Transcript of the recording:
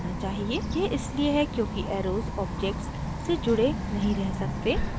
यह इसलिए है क्योंकि arrows objects से जुड़े नहीं रह सकते